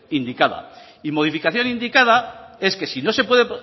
indicada y modificación indicada es que si no se puede